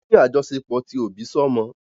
Wọ́n ní àjọṣepọ̀ ti òbí sọ́mọ.